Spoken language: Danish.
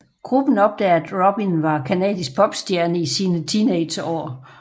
Gruppen opdager at Robin var canadisk popstjerne i sine teenageår